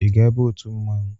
Ị ga-aba otu mmanwụ?